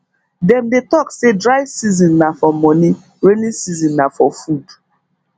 dem dey talk say dry season na for money rainy season na for food